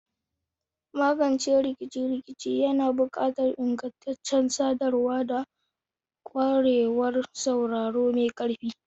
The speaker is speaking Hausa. Magance rikice-rikice yana buƙatar ingantaccen sadarwa da ƙwarewar sauraro mai ƙarfi.